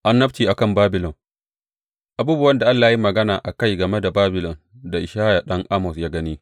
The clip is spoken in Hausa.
Annabci a kan Babilon Abubuwan da Allah ya yi magana a kai game da Babilon da Ishaya ɗan Amoz ya gani.